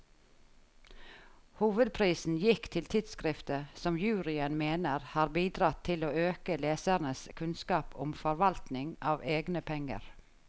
Hovedprisen gikk til tidskriftet, som juryen mener har bidratt til å øke lesernes kunnskap om forvaltning av egne penger.